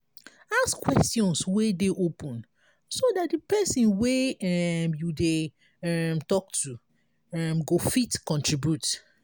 ask questions wey dey open so dat di person wey um you dey um talk to um go fit contribute